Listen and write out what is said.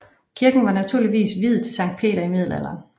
Kirken var muligvis viet til Sankt Peter i middelalderen